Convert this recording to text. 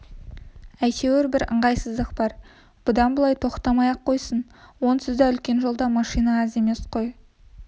әйтеуір бір ыңғайсыздық бар бұдан былай тоқтамай-ақ қойсын онсыз да үлкен жолда машина аз емес кой